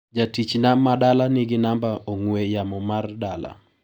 Jatichna ma dala nigi namba ong'ue yamo mar dala.